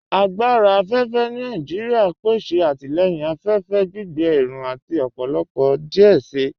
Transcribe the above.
Agbára afẹ́fẹ́ Nàìjíríà n pèsè àtilẹ̀yìn afẹ́fẹ́, gbìgbé ẹ̀rù àti ọ̀pọ̀lọ̀pọ̀ díẹ̀ sí.